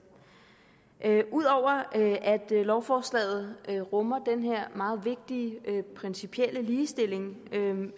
ud over at lovforslaget rummer den her meget vigtige principielle ligestilling